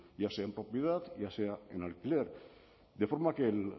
ya sea en propiedad ya sea en alquiler de forma que el